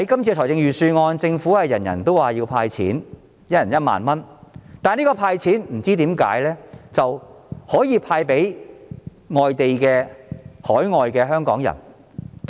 政府在預算案中表示，很多人要求政府"派錢"，每人1萬元，但我不明白政府為何要"派錢"給身處海外的香港人。